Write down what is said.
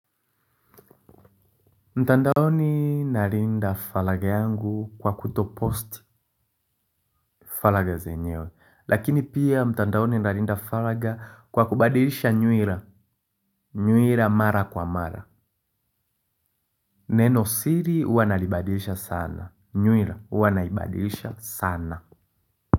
Mtandaoni nalinda faragha yangu kwa kutopost faragha zenyewe lakini pia mtandaoni nalinda faragha kwa kubadilisha nywila nywila mara kwa mara nenosiri huwa nalibadilisha sana nywila huwa naibadilisha sana.